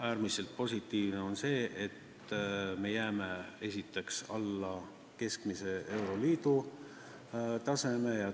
Äärmiselt positiivne on see, et meie maksukoormus jääb esiteks alla euroliidu keskmise taseme ja